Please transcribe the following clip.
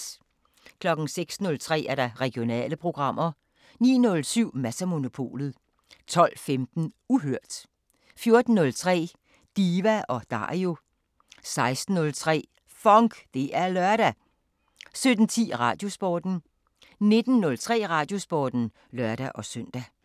06:03: Regionale programmer 09:07: Mads & Monopolet 12:15: Uhørt 14:03: Diva & Dario 16:03: FONK! Det er lørdag 17:10: Radiosporten 19:03: Radiosporten (lør-søn)